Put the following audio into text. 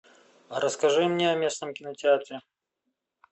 расскажи мне о местном кинотеатре